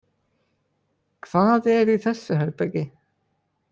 Hvað er í þessu herbergi?